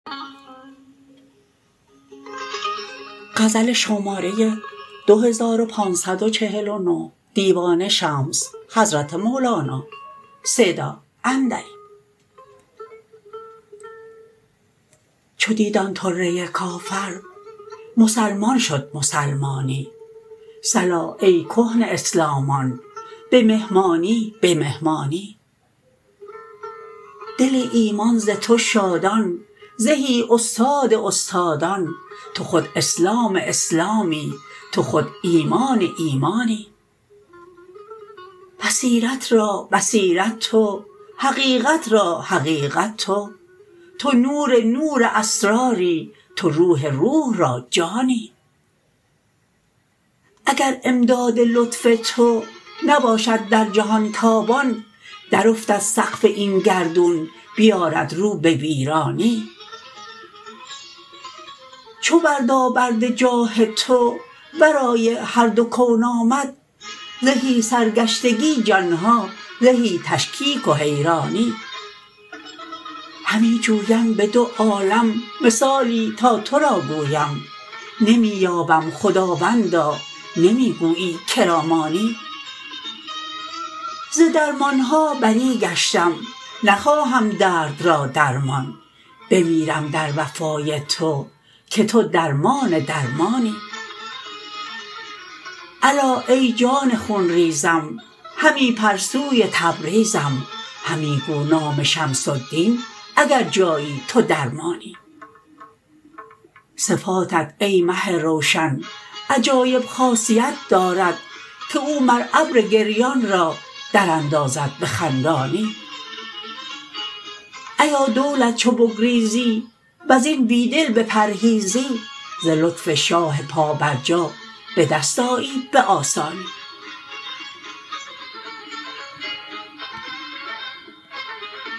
چو دید آن طره کافر مسلمان شد مسلمانی صلا ای کهنه اسلامان به مهمانی به مهمانی دل ایمان ز تو شادان زهی استاد استادان تو خود اسلام اسلامی تو خود ایمان ایمانی بصیرت را بصیرت تو حقیقت را حقیقت تو تو نور نور اسراری تو روح روح را جانی اگر امداد لطف تو نباشد در جهان تابان درافتد سقف این گردون بیارد رو به ویرانی چو بردابرد جاه تو ورای هر دو کون آمد زهی سرگشتگی جان ها زهی تشکیک و حیرانی همی جویم به دو عالم مثالی تا تو را گویم نمی یابم خداوندا نمی گویی که را مانی ز درمان ها بری گشتم نخواهم درد را درمان بمیرم در وفای تو که تو درمان درمانی الا ای جان خون ریزم همی پر سوی تبریزم همی گو نام شمس الدین اگر جایی تو درمانی صفاتت ای مه روشن عجایب خاصیت دارد که او مر ابر گریان را دراندازد به خندانی ایا دولت چو بگریزی و زین بی دل بپرهیزی ز لطف شاه پابرجا به دست آیی به آسانی